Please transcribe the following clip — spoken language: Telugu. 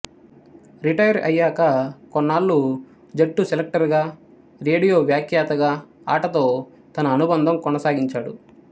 రిటైర్ అయ్యాక కొన్నాళ్ళు జట్టు సెలెక్టర్ గా రేడియో వ్యాఖ్యాతగా ఆటతో తన అనుబంధం కొనసాగించాడు